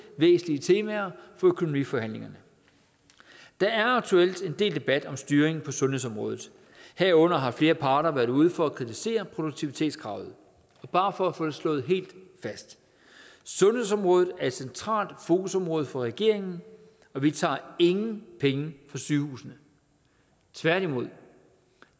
væsentlige temaer for økonomiforhandlingerne der er aktuelt en del debat om styringen på sundhedsområdet herunder har flere parter været ude for at kritisere produktivitetskravet bare for at få det slået helt fast sundhedsområdet er et centralt fokusområde for regeringen og vi tager ingen penge fra sygehusene tværtimod